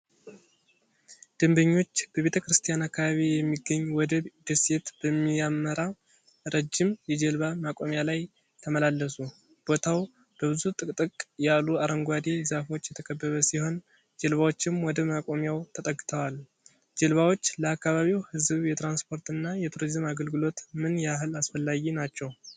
ደንበኞች በቤተ ክርስቲያን አካባቢ የሚገኝ ወደ ደሴት በሚያመራ ረጅም የጀልባ መቆሚያ ላይ ተመላለሱ። ቦታው በብዙ ጥቅጥቅ ያሉ አረንጓዴ ዛፎች የተከበበ ሲሆን ጀልባዎችም ወደ መቆሚያው ተጠግተዋል። ጀልባዎች ለአካባቢው ሕዝብ የትራንስፖርትና የቱሪዝም አገልግሎት ምን ያህል አስፈላጊ ናቸው?